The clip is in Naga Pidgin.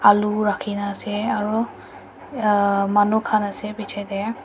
alu rakhina ase aro manu khan ase bichae tae.